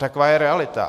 Taková je realita.